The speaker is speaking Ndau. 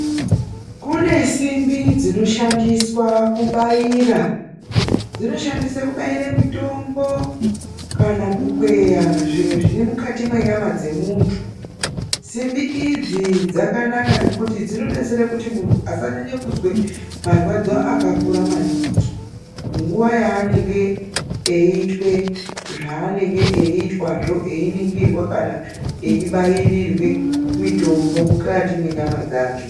Kune simbi dzinoshandiswa kubaira mitombo kana kukweya zviro zviri mukati mwenyama dzemunhu. Simbi idzi dzakanaka ngekuti dzinodetsera kuti munhu asarwadziwa maningi pamukuwo waanenge eiitwa zvaanenge eitwa , zvinokona kunge eibairwa kana kubairwe mitombo mukati mwenyama dzakwe.